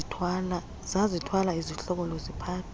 zazithwala izidlokolo ziphatha